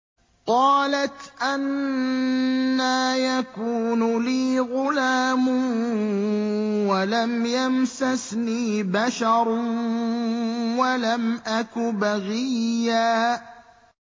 قَالَتْ أَنَّىٰ يَكُونُ لِي غُلَامٌ وَلَمْ يَمْسَسْنِي بَشَرٌ وَلَمْ أَكُ بَغِيًّا